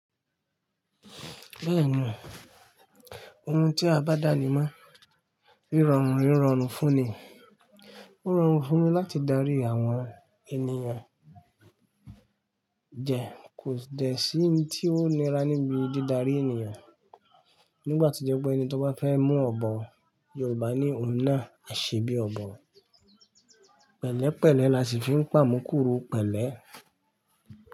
Bẹ́ẹ̀ni, ohun tí a bá dàní mọ́ rírorun rírorun fún ni. Rírorun fún ni láti darí àwọn ènìyàn jẹ kò dẹ̀ sí ohun tí ó nira níbi dídarí ènìyàn. Nígbà to jẹ́ pé ẹni tó bá fẹ́ mú ọ̀bọ Yorùbá ní òun nà à ṣe bi ọ̀bọ, pẹ̀lẹ́pẹ̀lẹ́ la ṣì fi ń pà mú kúrú pẹ̀lẹ́